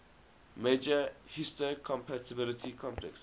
major histocompatibility complex